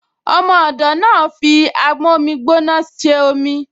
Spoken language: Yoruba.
Ọmọ ọ̀dọ̀ náà fi amómígbóná ṣe omi